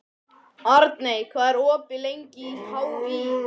Arney, hvað er opið lengi í HÍ?